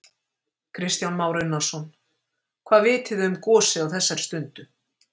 Kristján Már Unnarsson: Hvað vitið þið um gosið á þessari stundu?